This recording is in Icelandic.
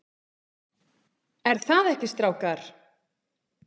ER ÞAÐ EKKI, STRÁKAR?